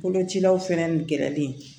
Kolocilaw fɛnɛ gɛrɛlen